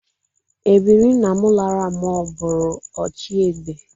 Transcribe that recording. Ebiri nna m lara mụọ bụrụ ochiegbe